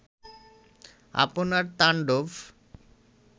আপনার তান্ডব